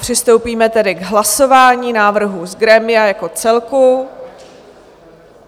Přistoupíme tedy k hlasování návrhu z grémia jako celku.